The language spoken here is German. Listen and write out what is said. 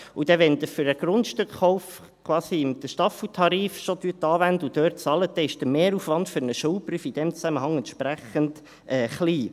Wenn Sie für einen Grundstückkauf schon den Staffeltarif anwenden und dort bezahlen, dann ist der Mehraufwand für einen Schuldbrief in diesem Zusammenhang entsprechend klein.